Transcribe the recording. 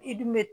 I dun bɛ